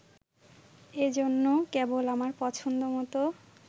এজন্য, কেবল আমার পছন্দ মত